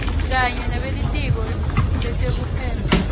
kanye nebelitiko letekuphepha